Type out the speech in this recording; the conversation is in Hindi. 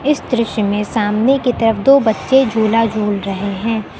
इस दृश्य में सामने की तरफ दो बच्चे झूला झूल रहे हैं।